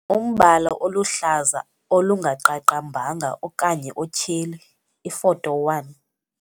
Umbala oluhlaza olungaqaqambanga okanye otyheli, iFoto 1.